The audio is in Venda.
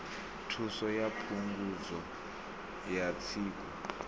thuso ya phungudzo ya tsiku